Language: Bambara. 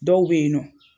Dɔw bɛ yen nɔ